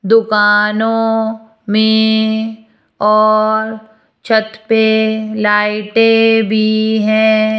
दुकानों में और छत पे लाइटें भी है।